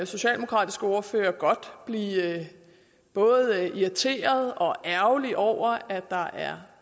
socialdemokratiske ordfører godt blive både irriteret og ærgerlig over at der er